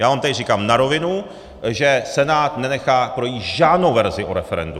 Já vám tady říkám na rovinu, že Senát nenechá projít žádnou verzi o referendu!